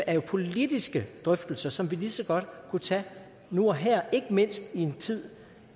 er jo politiske drøftelser som vi lige så godt kunne tage nu og her ikke mindst i en tid